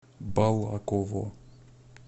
балаково